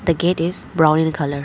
The gate is brown in colour.